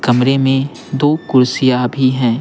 कमरे में दो कुर्सियां भी हैं।